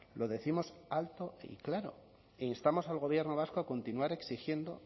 lo décimos alto y claro e instamos al gobierno vasco a continuar exigiendo